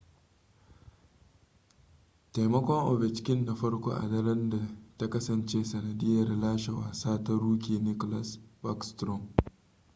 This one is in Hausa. taimakon ovechkin na farko a daren ta kasance sanadiyar lashe wasa ta rookie nicklas backstrom